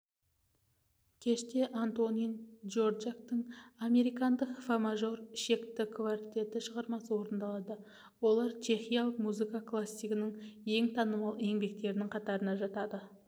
кеште антонин дворжактың американдық фа мажор ішекті квартеті шығармасы орындалады олар чехиялық музыка классигінің ең танымал еңбектерінің қатарына жатады